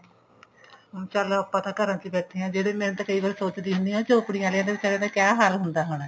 ਚੱਲ ਆਪਾਂ ਤਾਂ ਘਰਾਂ ਚ ਹੀ ਬੈਠੇ ਹਾਂ ਜਿਹੜੇ ਮੈਂ ਤਾਂ ਕਈ ਵਾਰ ਸੋਚਦੀ ਹੁੰਦੀ ਆ ਝੋਪੜੀਆਂ ਆਲਿਆਂ ਦਾ ਵਿਚਾਰਿਆਂ ਦਾ ਕੀ ਹਾਲ ਹੁੰਦਾ ਹੋਣਾ